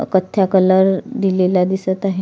कथ्या कलर दिलेला दिसत आहे.